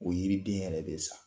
O yiri den yɛrɛ bɛ sa.